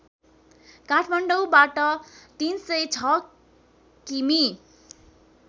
काठमाडौँबाट ३०६ किमि